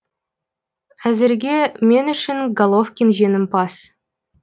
әзірге мен үшін головкин жеңімпаз